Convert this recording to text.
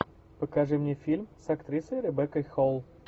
покажи мне фильм с актрисой ребеккой холл